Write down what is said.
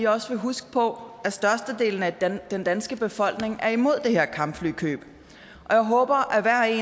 også vil huske på at størstedelen af den danske befolkning er imod det her kampflykøb og jeg håber